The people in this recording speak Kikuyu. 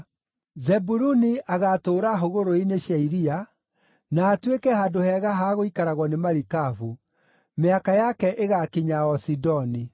“Zebuluni agaatũũra hũgũrũrũ-inĩ cia iria, na atuĩke handũ hega ha gũikaragwo nĩ marikabu; mĩhaka yake ĩgaakinya o Sidoni.